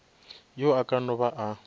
yo a ka no ba